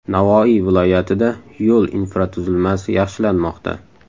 Navoiy viloyatida yo‘l infratuzilmasi yaxshilanmoqda.